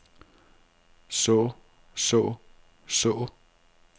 så så så